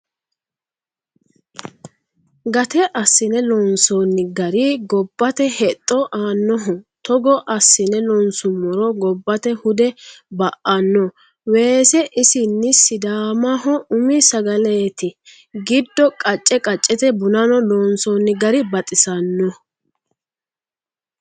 Gate assine loonsonni gari gobbate hexxo aanoho togo assine loonsuummoro gobbate hude ba"ano, weese isini sidaamaho umi sagaleti giddo qace qacete bunano loonsonni gari baxisanoho.